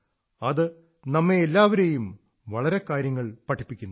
അത് നമ്മെ എല്ലാവരെയും വളരെ കാര്യങ്ങൾ പഠിപ്പിക്കുന്നു